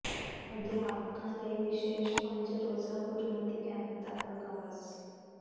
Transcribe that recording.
ਅਧਿਆਪਕਾਂ ਲਈ ਵਿਸ਼ੇਸ਼ ਪੰਜ ਰੋਜ਼ਾ ਗੁਰਮਤਿ ਕੈਂਪ ਦਾ ਆਗ਼ਾਜ਼